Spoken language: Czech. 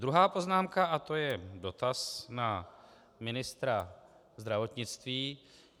Druhá poznámka - a to je dotaz na ministra zdravotnictví.